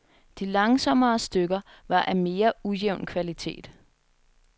De langsommere stykker var af mere ujævn kvalitet.